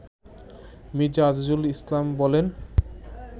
মির্জা আজিজুল ইসলাম বলেন